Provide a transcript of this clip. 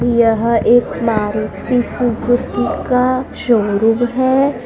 यह एक मारुति सुज़ुकी का शोरूम है।